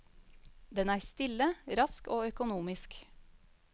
Den er stille, rask og økonomisk.